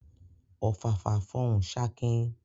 Ọ̀fàfà fọhùn ṣakin